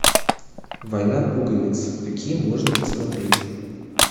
война пуговиц какие можно посмотреть